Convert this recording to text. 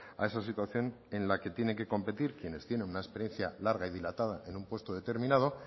a esa situación en la que tienen que competir quienes tienen una experiencia larga y dilatada en un puesto determinado